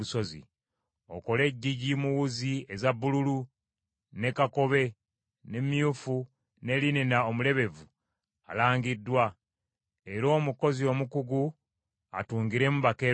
“Okole eggigi mu wuzi eza bbululu, ne kakobe, ne myufu, ne linena omulebevu alangiddwa; era omukozi omukugu atungiremu bakerubi.